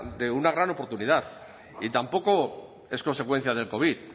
de una gran oportunidad y tampoco es consecuencia del covid